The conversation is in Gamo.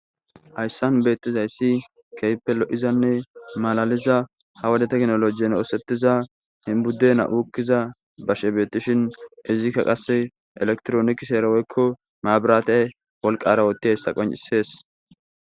Hayissanni betizayissi kehippe lo'izanne malaliza haa wode techinolojin othetizza budenna ukizza basheyi betishshinn izikka qase elekitronikisara woyikko mabirate eoliqara othozayissa qonicisses.